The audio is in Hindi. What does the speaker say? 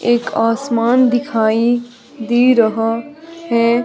एक आसमान दिखाई दे रहा है।